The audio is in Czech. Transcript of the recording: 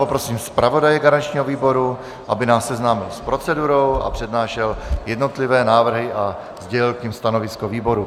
Poprosím zpravodaje garančního výboru, aby nás seznámil s procedurou a přednášel jednotlivé návrhy a sdělil k nim stanovisko výboru.